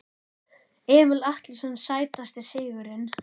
Emil Atlason Sætasti sigurinn?